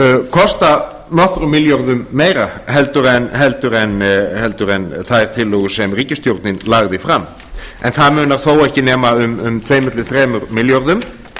kosta nokkrum milljörðum meira en þær tillögur sem ríkisstjórnin lagði fram en það munar þó ekki nema um tvö til þremur milljörðum